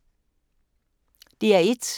DR1